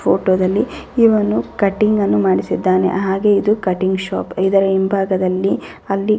photo ದಲ್ಲಿ ಇವನು cutting ಅನ್ನು ಮಾಡಿಸಿದ್ದಾನೆ ಹಾಗು ಇದು ಕಟ್ಟಿಂಗ್ ಶಾಪ್ ಇದರ ಹಿಂಭಾಗದಲ್ಲಿ ಹಲ್ಲಿ --